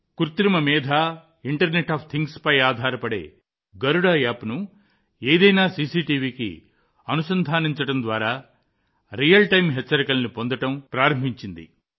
కృత్రిమ మేధ internet of things లపై ఆధారపడే గరుడ యాప్ ను ఏదైనా సీసీటీవీకి అనుసంధానించడం ద్వారా నిజ సమయ హెచ్చరికలను పొందడం ప్రారంభిస్తుంది